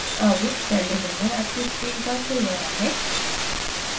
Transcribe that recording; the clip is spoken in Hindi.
अब celldesigner आपकी screen पर खुल गया है